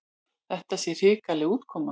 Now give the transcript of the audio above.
Þetta sé hrikaleg útkoma.